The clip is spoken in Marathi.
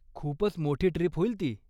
खूपच मोठी ट्रीप होईल ती.